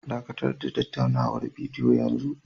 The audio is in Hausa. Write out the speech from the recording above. Dakatar da tattaunawar bidiyo yanzu!